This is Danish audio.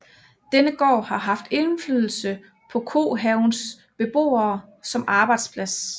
Denne gård har haft indflydelse på Kohavens beboer som arbejdsplads